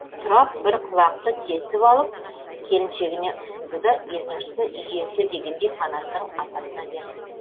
тұрап бір құлақты кесіп алып келіншегіне ұсынды да екіншісін үй иесі дегендей қанаттың атасына берді